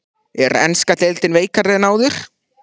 Er enska deildin veikari en áður?